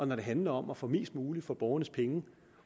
når det handler om at få mest muligt for borgernes penge